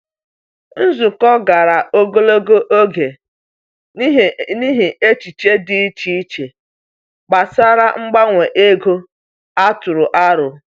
Nzukọ gara ogologo oge n’ihi echiche dị iche iche gbasara mgbanwe ego a tụrụ aro.